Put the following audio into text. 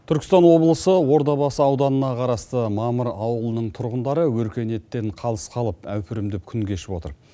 түркістан облысы ордабасы ауданына қарасты мамыр ауылының тұрғындары өркениеттен қалыс қалып әупірімдеп күн кешіп отыр